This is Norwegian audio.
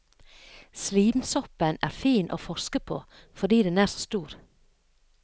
Slimsoppen er fin å forske på fordi den er så stor.